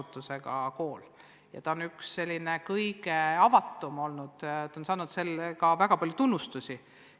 See on üks selline kõige avatum kool olnud ja saanud sellega seoses ka väga palju tunnustust.